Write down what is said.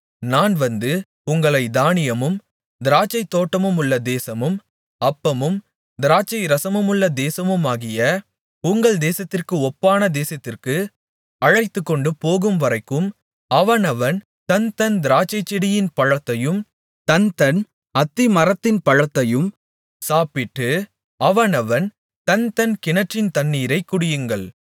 நான் வந்து உங்களைத் தானியமும் திராட்சைத்தோட்டமுமுள்ள தேசமும் அப்பமும் திராட்சைரசமுமுள்ள தேசமுமாகிய உங்கள் தேசத்திற்கு ஒப்பான தேசத்திற்கு அழைத்துக்கொண்டு போகும்வரைக்கும் அவனவன் தன்தன் திராட்சைச்செடியின் பழத்தையும் தன்தன் அத்திமரத்தின் பழத்தையும் சாப்பிட்டு அவனவன் தன் தன் கிணற்றின் தண்ணீரைக் குடியுங்கள்